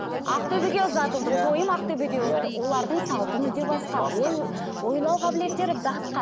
ақтөбеге ұзатылдым тойым ақтөбеде өтті иә олардың салты мүлде басқа басқа ой ойлау қабілеттері басқа